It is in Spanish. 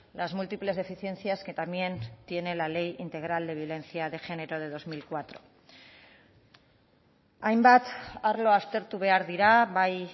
las múltiples deficiencias que también tiene la ley integral de violencia de género de dos mil cuatro hainbat arlo aztertu behar dira bai